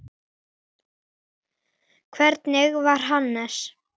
Þannig var Hannes.